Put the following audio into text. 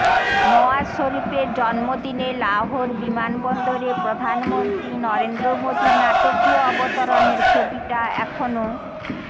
নওয়াজ শরিফের জন্মদিনে লাহৌর বিমানবন্দরে প্রধানমন্ত্রী নরেন্দ্র মোদীর নাটকীয় অবতরণের ছবিটা এখনও